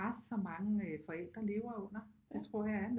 Pres som mange forældre lever under det tror jeg er